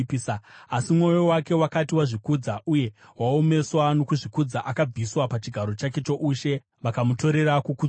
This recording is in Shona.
Asi mwoyo wake wakati wazvikudza uye waomeswa nokuzvikudza, akabviswa pachigaro chake choushe vakamutorera kukudzwa kwake.